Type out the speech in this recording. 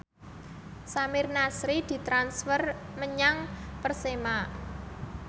Samir Nasri ditransfer menyang Persema